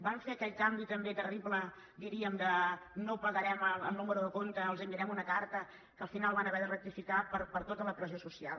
van fer aquell canvi també terrible diríem de no ho pagarem al número de compte els enviarem una carta que al final van haver de rectificar per tota la pressió social